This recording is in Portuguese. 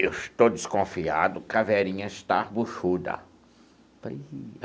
Eu estou desconfiado que a Verinha está buchuda.